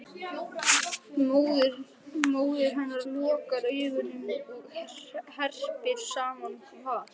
Móðir hennar lokar augunum og herpir saman var